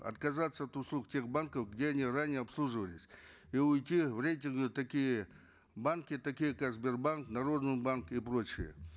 отказаться от услуг тех банков где они ранее обслуживались и уйти в такие банки такие как сбербанк народный банк и прочие